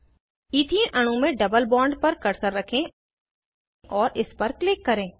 ethene अणु में double bond पर कर्सर रखें और इस पर क्लिक करें